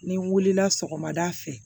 N'i wulila sɔgɔmada fɛ